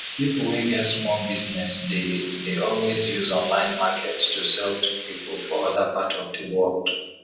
people wey get small business dey dey always use online market to sell to people for other part of di world